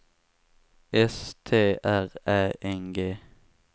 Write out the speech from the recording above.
S T R Ä N G